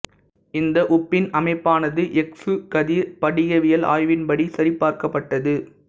இந்த உப்பின் அமைப்பானது எக்சு கதிர் படிகவியல் ஆய்வின்படி சரிபார்க்கப்பட்டது